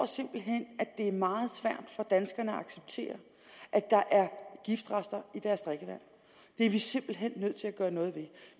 simpelt hen er meget svært for danskerne at acceptere at der er giftrester i deres drikkevand det er vi simpelt hen nødt til at gøre noget ved